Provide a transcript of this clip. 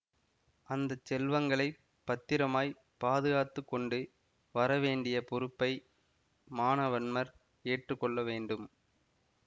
அந்த செல்வங்களை பத்திரமாய்ப் பாதுகாத்து கொண்டு வர வேண்டிய பொறுப்பை மானவன்மர் ஏற்று கொள்ள வேண்டும்